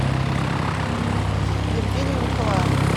евгению николаевну